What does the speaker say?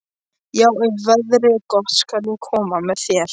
Já, ef veðrið er gott skal ég koma með þér.